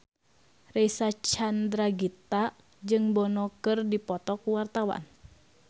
Reysa Chandragitta jeung Bono keur dipoto ku wartawan